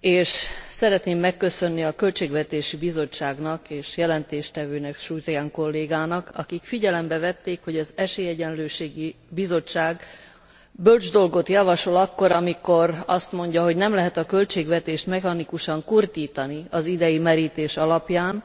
és szeretném megköszönni a Költségvetési Bizottságnak és a jelentéstevőnek, Surján kollégának, akik figyelembe vették, hogy az Esélyegyenlőségi Bizottság bölcs dolgot javasol akkor, amikor azt mondja, hogy nem lehet a költségvetést mechanikusan kurtítani az idei merítés alapján,